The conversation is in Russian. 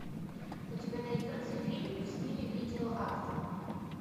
у тебя найдется фильм в стиле видео арта